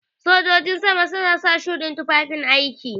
Sojojin sama suna sa shuɗin tufafin aiki.